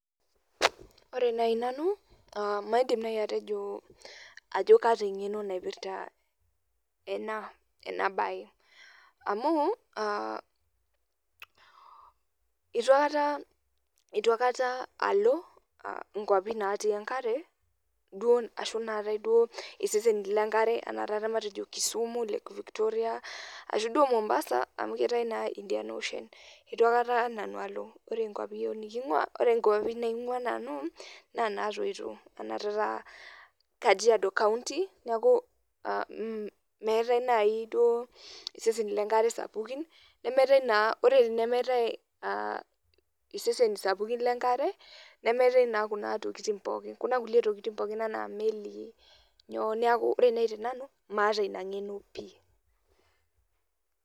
Ore nai nanu, ah maidim nai atejo ajo kaata eng'eno naipirta enabae. Amu, itu aikata alo inkwapi natii enkare, ashu natae duo iseseni lenkare ana taata matejo Kisumu lake Victoria, ashu duo Mombasa amu keetae naa Indian Ocean. Itu akata nanu alo, ore nkwapi yiok niking'ua, ore nkwapi naing'ua nanu, na natoito. Ana taata Kajiado county ,neeku meetae nai duo iseseni lenkare sapukin, nemeetae naa ore tenemeetae iseseni sapukin lenkare, nemeetae naa kuna tokiting pookin. Kuna kulie tokiting pookin enaa imelii, nyoo. Neeku ore nai tenanu, maata ina ng'eno pi.